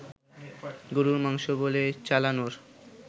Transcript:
গরুর মাংস বলে চালানোর